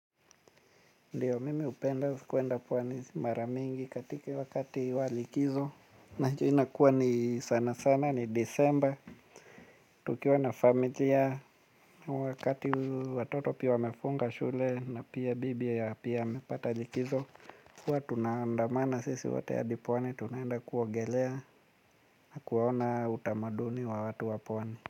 Ndiyo mimi hupenda kuenda pwani mara mingi katika wakati wa likizo na najua inakuwa ni sana sana ni disemba. Tukiwa na familia wakati watoto pia wamefunga shule na pia bibi ya pia amepata likizo, huwa tunaandamana sisi wote hadi pwani tunaenda kuogelea na kuwaona utamaduni wa watu wa pwani.